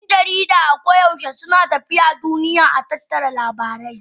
Yan jarida a ko da yaushe suna tafiya a duniya don tattara labarai